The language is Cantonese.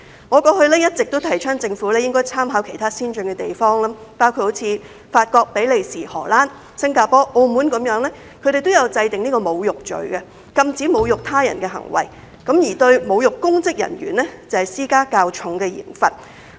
我過往一直也提倡政府應該參考其他先進地方，包括法國、比利時、荷蘭、新加坡和澳門，它們都有制訂侮辱罪，禁止侮辱他人的行為，並且就侮辱公職人員施加較重的刑罰。